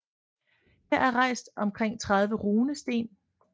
Her er rejst omkring 30 runesten